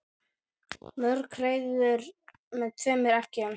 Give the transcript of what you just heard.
Mörg hreiður með tveimur eggjum.